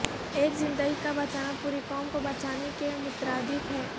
ایک زندگی کا بچانا پوری قوم کو بچانے کے مترادف ہے